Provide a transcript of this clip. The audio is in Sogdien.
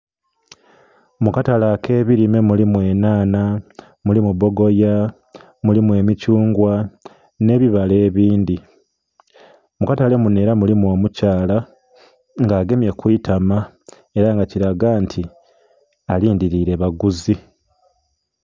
Mu katale ake bilime mulimu enhanha, mulimu bogoya, mulimu emithungwa nhe bibala ebindhi. Mu katale munho era mulimu omukyala nga agemye ku itama ela nga kilaga nti alindhiliile baguzi.